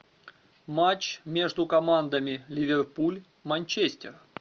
матч между командами ливерпуль манчестер